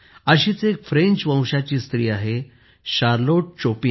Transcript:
अशीच एक फ्रेंच वंशाची स्त्री आहे शार्लोट शोपा